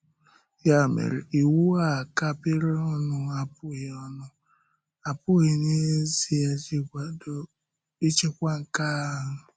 Yà mere, iwu a kapịrị ọnụ apụghị ọnụ apụghị n’ezìe ịchịkwa nke ahụ.